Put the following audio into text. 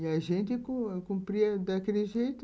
E a gente cu cumpria daquele jeito.